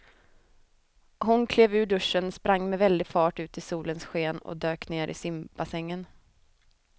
Hon klev ur duschen, sprang med väldig fart ut i solens sken och dök ner i simbassängen.